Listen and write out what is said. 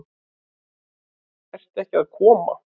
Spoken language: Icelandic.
Ert ekki að koma?